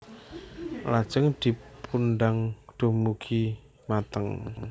Lajeng dipundang dumugi mateng